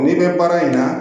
N'i bɛ baara in na